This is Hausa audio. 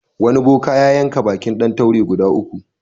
Wani boka ya yanka baƙin ɗan taure guda uku.